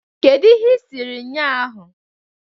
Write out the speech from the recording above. Kedu ihe ị siri ụnyahụ?